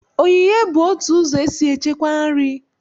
Oghighe bụ otu ụzọ esi echekwa nri